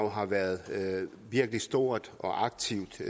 har været virkelig stort og aktivt